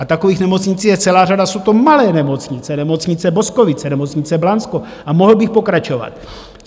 A takových nemocnic je celá řada, jsou to malé nemocnice - nemocnice Boskovice, nemocnice Blansko, a mohl bych pokračovat.